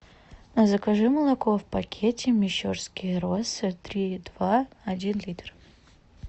закажи молоко в пакете мещерские росы три и два один литр